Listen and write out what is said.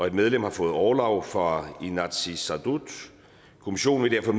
et medlem har fået orlov fra inatsisartut kommissionen vil derfor